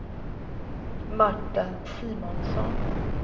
Marta Simonsson